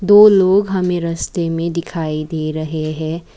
दो लोग हमें रस्ते में दिखाई दे रहे हैं।